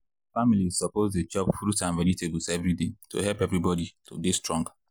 families suppose dey chop fruit and vegetables every day to help everybody to dey strong.